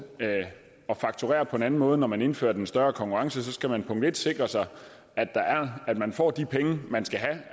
at fakturere på en anden måde når man indfører en større konkurrence skal man sikre sig at man får de penge man skal have